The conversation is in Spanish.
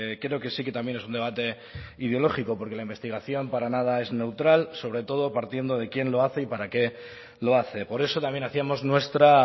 creo que sí que también es un debate ideológico porque la investigación para nada es neutral sobre todo partiendo de quién lo hace y para qué lo hace por eso también hacíamos nuestra